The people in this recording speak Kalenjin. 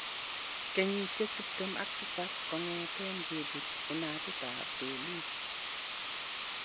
Kenyisiek tiptem ak tisab kogeten ngebut inatut ab Berlin.